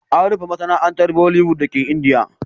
An rufe masana'antar Bollywood dake Indiya.